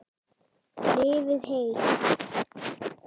Lifið heil.